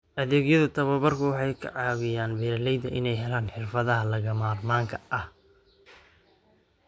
Adeegyada tababarku waxay ka caawiyaan beeralayda inay helaan xirfadaha lagama maarmaanka ah.